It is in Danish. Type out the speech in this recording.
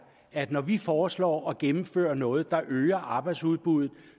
at når vi foreslår at gennemføre noget der øger arbejdsudbuddet